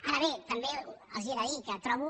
ara bé també els he de dir que trobo